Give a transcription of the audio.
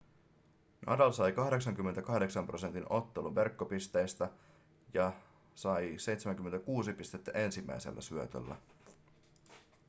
nadal sai 88 % ottelun verkkopisteistä ja sai 76 pistettä ensimmäisellä syötöllä